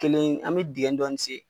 Kelen an mi dingɛ dɔɔnin sen